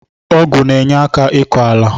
Ọgụ na enyeka ịkọ ala.